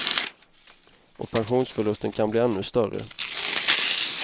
Och pensionsförlusten kan bli ännu större.